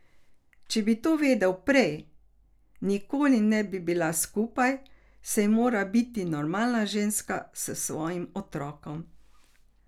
Če bi to vedel prej, nikoli ne bi bila skupaj, saj mora biti normalna ženska s svojim otrokom!